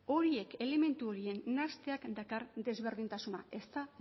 horiek elementu horien nahasteak dakar desberdintasuna ez da